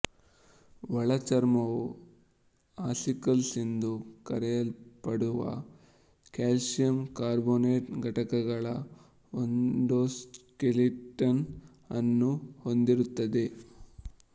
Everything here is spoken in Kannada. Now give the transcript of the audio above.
ಒಳಚರ್ಮವು ಆಸಿಕಲ್ಸ್ ಎಂದು ಕರೆಯಲ್ಪಡುವ ಕ್ಯಾಲ್ಸಿಯಂ ಕಾರ್ಬೋನೇಟ್ ಘಟಕಗಳ ಎಂಡೋಸ್ಕೆಲಿಟನ್ ಅನ್ನು ಹೊಂದಿರುತ್ತದೆ